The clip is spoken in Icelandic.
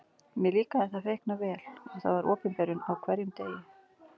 Mér líkaði það feikna vel og Það var opinberun á hverjum degi.